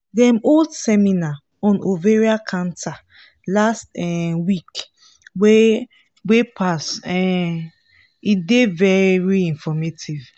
dem hold seminar on ovarian cancer last um week wey wey pass um e dey very informative